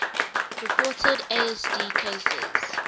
reported asd cases